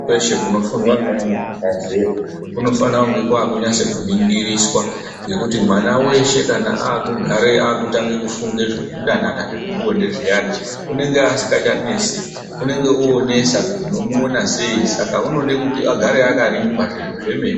Kweshe kunofundwa ngeana abva zera kunofanire kunge kwakunase kuningiriswa ngekuti mwana weshe kana akugareyo akutange kufunge zvekudanana zvepabonde zviyani unenge asingachanesi unenge onesa kuti unomuona sei Saka unode kuti agare akarindwa zvemene.